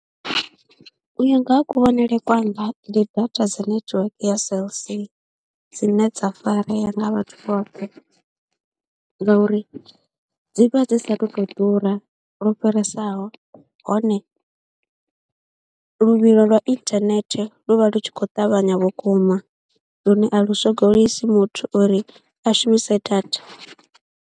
U ya nga ha kuvhonele kwanga ndi data dza netiweke ya Cell C dzine dza farea nga vhathu vhoṱhe ngauri dzi vha dzi saathu tou ḓura lwo fhiresaho hone luvhilo lwa inthanethe lu vha lu tshi khou ṱavhanya vhukuma lune a lu swogolisi muthu uri a shumise data.